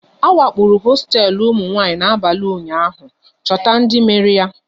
A wakporo hosteelu ụmụnwanyị n'abalị ụnyaahụ, chọta ndị mere ya!